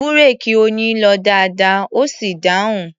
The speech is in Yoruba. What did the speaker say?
Búréèkì Oyin lọ dáadáa, ó sì dáhùn.